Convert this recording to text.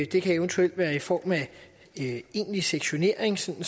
det kan eventuelt være i form af egentlig sektionering sådan